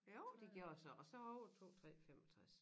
Jo de gjorde så og så overtog 3 65